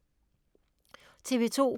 TV 2